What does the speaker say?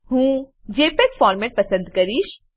હું JPEG format પસંદ કરીશ